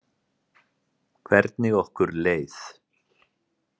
Hvernig okkur leið.